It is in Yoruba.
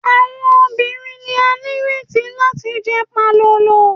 Awọn obirin ni a nireti lati jẹ palolo